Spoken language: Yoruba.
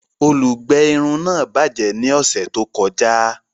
Olùgbé irun náà bajẹ ní ọsẹ tó kọjá